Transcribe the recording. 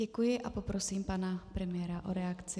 Děkuji a poprosím pana premiéra o reakci.